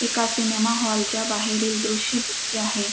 एका cinema hall च्या बाहेरील दृश्य दिसते आहे.